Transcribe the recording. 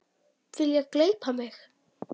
Vilja gleypa mig.